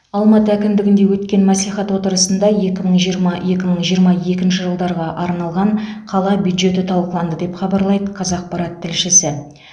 алматы әкімдігінде өткен мәслихат отырысында екі мың жиырма екі мың жиырма екінші жылдарға арналған қала бюджеті талқыланды деп хабарлайды қазақпарат тілшісі